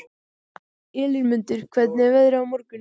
Elínmundur, hvernig er veðrið á morgun?